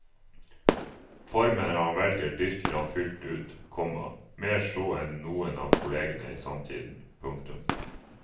Formen han velger dyrker han fullt ut, komma mer så enn noen av kollegene i samtiden. punktum